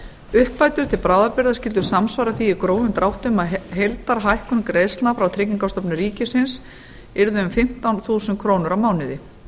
uppbætur til bráðabirgða skyldu samsvara því í grófum dráttum að heildarhækkun greiðslna frá tryggingastofnun ríkisins yrði um fimmtán þúsund krónur á mánuði